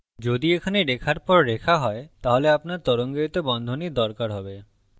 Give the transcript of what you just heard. যদি এখানে রেখার পর রেখা হয় তাহলে আপনার তরঙ্গায়িত বন্ধনীর দরকার have